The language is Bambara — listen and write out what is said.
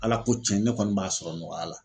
Ala ko cɛn ne kɔni b'a sɔrɔ nɔgɔya la.